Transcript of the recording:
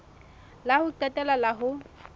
la ho qetela la ho